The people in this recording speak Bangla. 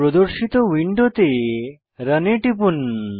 প্রদর্শিত উইন্ডোতে রান এ টিপুন